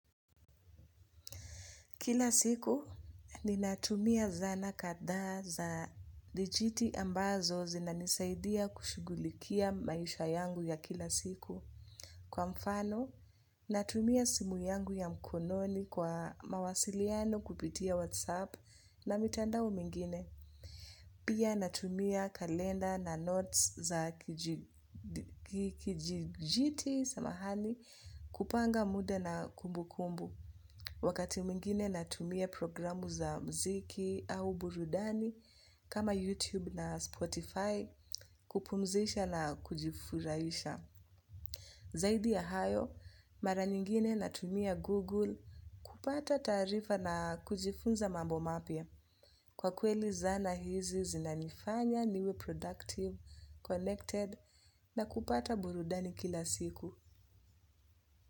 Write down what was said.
Kila siku, ninatumia zana kadhaa za dijiti ambazo zinanisaidia kushughulikia maisha yangu ya kila siku. Kwa mfano, natumia simu yangu ya mkononi kwa mawasiliano kupitia WhatsApp na mitandao mingine. Pia natumia kalenda na notes za kijidijitali, samahani kupanga muda na kumbu kumbu. Wakati mwingine natumia programu za muziki au burudani kama YouTube na Spotify kupumzisha na kujifurahisha. Zaidi ya hayo, mara nyingine natumia Google kupata taarifa na kujifunza mambo mapya kwa kweli zana hizi zinanifanya niwe productive, connected na kupata burudani kila siku.